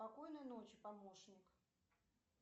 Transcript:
спокойной ночи помощник